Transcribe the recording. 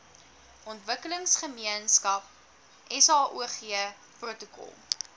ontwikkelingsgemeenskap saog protokol